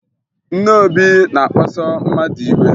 Nne Obi na-akpaso mmadụ iwe